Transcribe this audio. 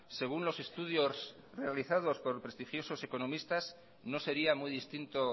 según los estudios realizados por prestigiosos economistas no sería muy distinto